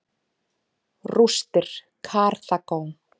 Rústir Karþagó.